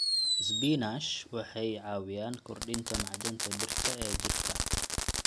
Isbinaash waxay caawiyaan kordhinta macdanta birta ee jidhka.